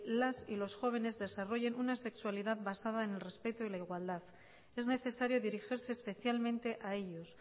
las y los jóvenes desarrollen una sexualidad basada en el respeto y la igualdad es necesario dirigirse especialmente a ellos